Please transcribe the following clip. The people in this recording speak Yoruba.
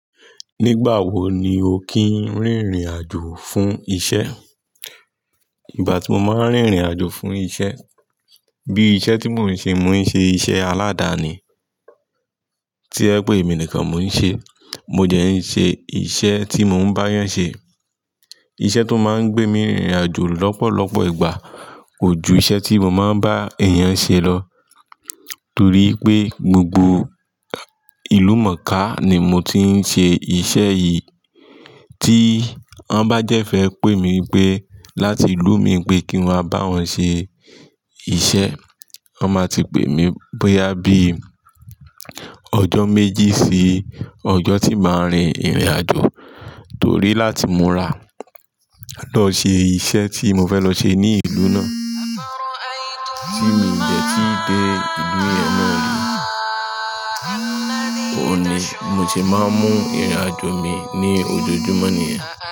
Nígbà wo ni o kìí rìn ìrìn àjò fún isẹ? Ìgbà tí mo máa ń rìn ìrìn àjò fún isẹ, bí isẹ tí mo ń ṣe, mo ń ṣe isẹ aladani, tojewipé emi nìkan mo ń ṣe. Mo dẹ ń ṣe isẹ tí mo ń bá èèyàn ṣe. Isẹ tó máa ń gbé mi rìn ìrìn àjò lọ́pọ̀lọpọ̀ ìgbà kò ju isẹ tí mo máa ń bá èèyàn ṣe lọ. Torí pé gbogbo ìlú mòónká ni mo ti ń ṣe isẹ yìí. Tí wọn bá de fẹ́ pé mi pé láti ìlú mi pé kí n wá bá wọn ṣe isẹ, wọn máa ti pé mi bóyá bí ọjọ́ méjì sí ọjọ́ tí màá rìn ìrìn àjò. Torí láti múra lọ ṣe iṣẹ́ tí mo fẹ́ lọ ṣe ní ìlú náà, tí mi de tí dé ìlú yẹn náà le, òní mo se máa ń mú ìrìn àjò mi ní ojoojúmọ́ nìyẹn.